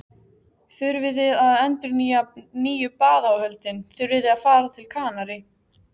þurfiði að endurnýja nýju baðáhöldin, þurfiði að fara til Kanarí?